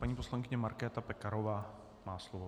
Paní poslankyně Markéta Pekarová má slovo.